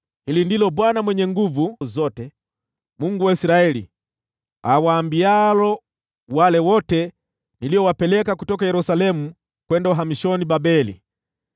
Hili ndilo Bwana Mwenye Nguvu Zote, Mungu wa Israeli, awaambialo wale wote niliowapeleka kutoka Yerusalemu kwenda uhamishoni Babeli: